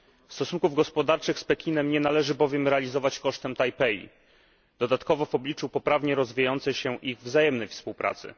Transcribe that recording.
Stosunków gospodarczych z Pekinem nie należy bowiem realizować kosztem Tajpej, dodatkowo w obliczu poprawnie rozwijającej się ich wzajemnej współpracy.